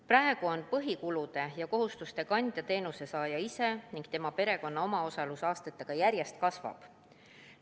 Praegu on põhikulude ja ‑kohustuste kandja teenuse saaja ise ning tema perekonna omaosalus aastatega järjest kasvab.